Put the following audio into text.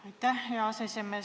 Aitäh, hea aseesimees!